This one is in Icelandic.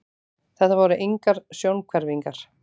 Þetta voru engar sjónhverfingar.